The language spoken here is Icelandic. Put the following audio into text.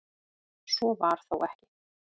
Svo var þó ekki.